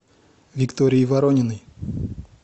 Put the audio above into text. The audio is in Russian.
виктории ворониной